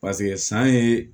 san ye